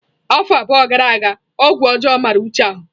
Afọ abụọ gara aga ọgwụ ọjọọ mara Uche ahụ.